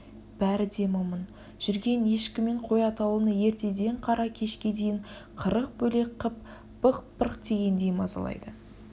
бәрі де момын жүрген ешкі мен қой атаулыны ертеден қара кешке дейін қырық бөлек қып бықпырг тигендей мазалайды